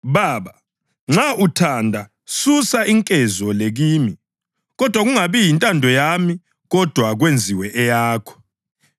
“Baba, nxa uthanda susa inkezo le kimi; kodwa akungabi yintando yami, kodwa kwenziwe eyakho.”